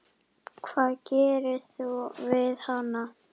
Hvað gerir þú við hana?